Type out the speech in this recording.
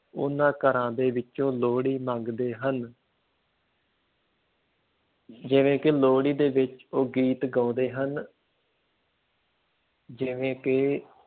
ਉਹਨਾਂ ਘਰਾਂ ਦੇ ਵਿੱਚੋਂ ਲੋਹੜੀ ਮੰਗਦੇ ਹਨ ਜਿਵੇਂ ਕਿ ਲੋਹੜੀ ਦੇ ਵਿੱਚ ਉਹ ਗੀਤ ਗਾਉਂਦੇ ਹਨ ਜਿਵੇਂ ਕਿ